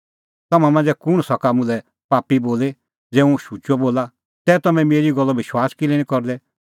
तम्हां मांझ़ै कुंण सका मुल्है पापी बोली ज़ै हुंह शुचअ बोला तै तम्हैं मेरी गल्लो विश्वास किल्है निं करदै